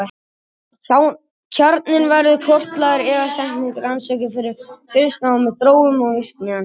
Kjarninn verður kortlagður, efnasamsetningin rannsökuð og fylgst náið með þróun og virkni hans.